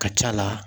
Ka c'a la